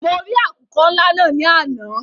Mọ rì àkùkọ́ ńlá náà ní àná.